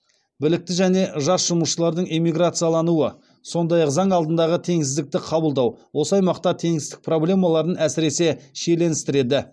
білікті және жас жұмысшылардың эмиграциялануы сондай ақ заң алдындағы теңсіздікті қабылдау осы аймақта теңсіздік проблемаларын әсіресе шиеленістіреді